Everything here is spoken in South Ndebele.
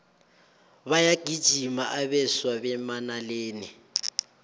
bayagijima abeswa bemanaleni